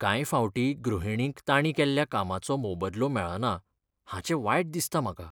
कांय फावटीं गृहिणींक तांणी केल्ल्या कामाचो मोबदलो मेळना हाचें वायट दिसता म्हाका.